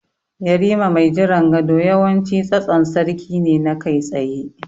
Yarima mai jiran gado yawanci tsatson sarki ne na kai tsaye.